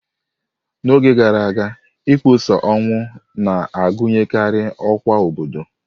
N'oge gara aga, ịkpọsa ọnwụ na-agụnyekarị ọkwa obodo.